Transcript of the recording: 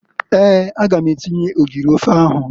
Eeǃ A ga m atinye ogiri ofe ahụ.